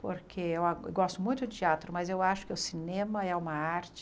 Porque eu a gosto muito de teatro, mas eu acho que o cinema é uma arte...